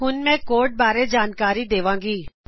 ਹੁਣ ਮੈਂ ਕੋਡ ਬਾਰੇ ਜਾਣਕਾਰੀ ਦੇਵਾਂਗੀ